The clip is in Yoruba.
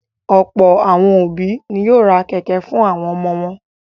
Ọ̀pọ̀ àwọn òbí ni yóò ra kẹ̀kẹ́ fún àwọn ọmọ wọn.